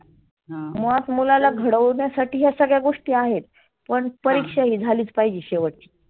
मुळात मुलाला घडविण्यासाठी या सगळ्या गोष्टी आहेत. पण परिक्षा ही झालीच पाहिजे शेवटची.